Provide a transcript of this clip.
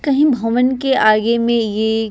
कहीं भवन के आगे में ये --